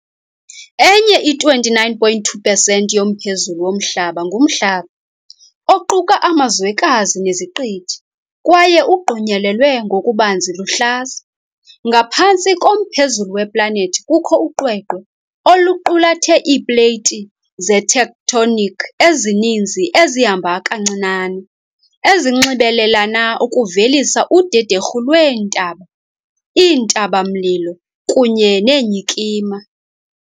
Enye i-29.2 pesenti yomphezulu woMhlaba ngumhlaba, oquka amazwekazi neziqithi, kwaye ugqunyelelwe ngokubanzi luhlaza. Ngaphantsi komphezulu weplanethi kukho uqweqwe, oluqulathe iipleyiti zetectonic ezininzi ezihamba kancinane, ezinxibelelana ukuvelisa udederhu lweentaba, iintaba-mlilo, kunye neenyikima.